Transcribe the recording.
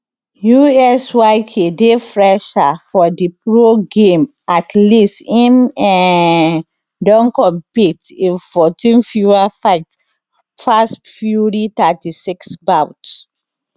usyk dey fresher for di pro game at least im um don compet in 14 fewer fights pass fury 36 bouts